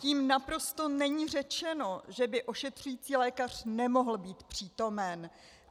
Tím naprosto není řečeno, že by ošetřující lékař nemohl být přítomen.